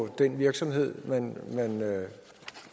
den virksomhed man